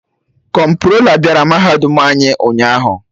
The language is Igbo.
Kọmptrola bịara mahadum anyị ụnyaahụ